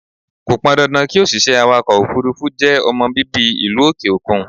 Kò pọn dandan kí òṣìṣẹ́ awàkọ̀ òfúrúfú jẹ́ ọmọ bíbí ìlú òkè òkun.